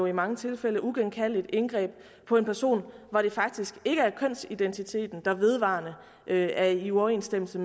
i mange tilfælde uigenkaldeligt indgreb på en person hvor det faktisk ikke er kønsidentiteten der vedvarende er i uoverensstemmelse